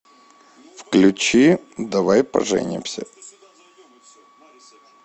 включи давай поженимся